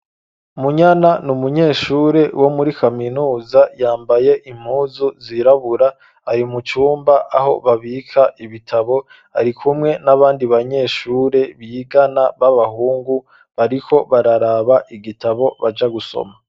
Munyana, ni umunyeshure, wo muri kaminuza; yambaye impuzu zirabura, ari mu cumba, aho babika ibitabo; ari kumwe n'abandi, banyeshure bigana, b'abahungu, bariko bararaba igitabo, baja gusoma.